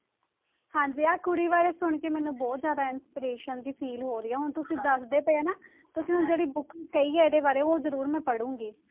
ਹਾਂਜੀ ਆਹ ਕੁੜੀ ਬਾਰੇ ਸੁਣਕੇ ਮੈਨੂੰ ਬਹੁਤ ਜ਼ਿਆਦਾ inspiration ਜਿਹੀ feel ਹੋ ਰਹੀ ਆ ਹੁਣ ਤੁਸੀਂ ਦੱਸਦੇ ਪਏ ਹੋ ਨਾ ਤੁਸੀਂ ਹੁਣ ਜਿਹੜੀ book ਕਹੀ ਆ ਇਹਦੇ ਬਾਰੇ ਉਹ ਜ਼ਰੂਰ ਮੈਂ ਪੜ੍ਹਾਂਗੀ।